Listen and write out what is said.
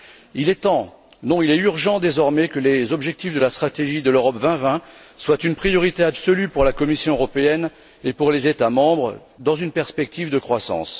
Il est temps, non il est urgent, désormais, que les objectifs de la stratégie Europe 2020 soient une priorité absolue pour la Commission européenne et pour les États membres dans une perspective de croissance.